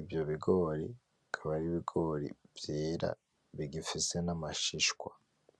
ivyo bigori akaba ar'ibigori vyera bigifise n'amashishwa.